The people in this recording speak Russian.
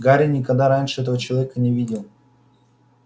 гарри никогда раньше этого человека не видел